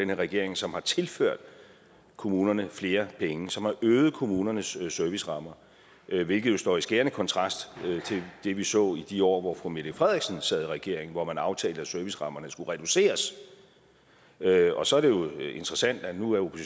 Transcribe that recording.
regering som har tilført kommunerne flere penge som har øget kommunernes servicerammer hvilket jo står i skærende kontrast til det vi så i de år hvor fru mette frederiksen sad i regering hvor man aftalte at servicerammerne skulle reduceres og så er det jo interessant at nu er